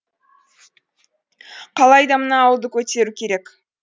қалайда мына ауылды көтеру керек